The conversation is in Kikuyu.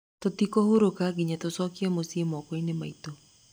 Tũtikũhurũka nginya tũcokie mũciĩ moko-inĩ maitũ.